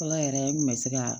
Ala yɛrɛ n kun bɛ se ka